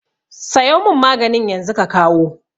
Sayo mun maganin yanzu ka kawo